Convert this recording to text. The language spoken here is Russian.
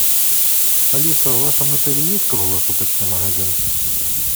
алиса в вашем отеле есть круглосуточный магазин